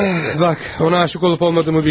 Bax, ona aşiq olub-olmadığımı bilmirəm.